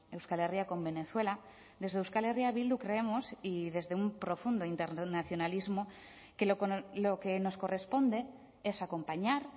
euskal herria con venezuela desde euskal herria bildu creemos y desde un profundo internacionalismo que lo que nos corresponde es acompañar